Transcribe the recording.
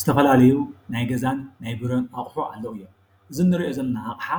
ዝተፈላለዩ ናይ ገዛን ናይ ቢሮን ኣቑሑ ኣለዉ እዮም። እዚ እንሪኦ ዘለና ኣቕሓ